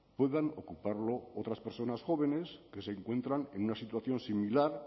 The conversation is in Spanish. puedan ocuparlo otras personas jóvenes que se encuentran en una situación similar